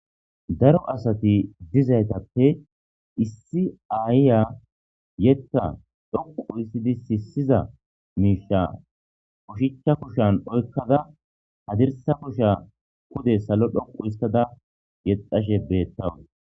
Daro asati dizaytappe issi aayiya yetta dhoqu issidi sisiza miisha ushicha koshan oykkada hadirsa kosha kode salo dhoqu histada yexashe beettawu.